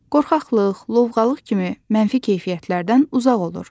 Qorxaqlıq, lovğalıq kimi mənfi keyfiyyətlərdən uzaq olur.